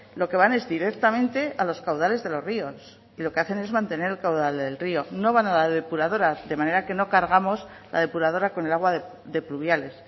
lo que van es directamente a los caudales de los ríos y lo que hacen es mantener el caudal del río no van a la depuradora de manera que no cargamos la depuradora con el agua de pluviales